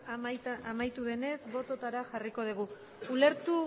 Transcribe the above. amaitu denez botoetara jarriko dugu